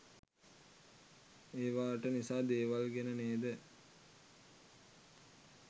ඒවාට නිසා දේවල් ගැන නේද